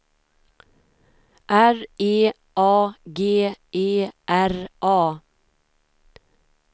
R E A G E R A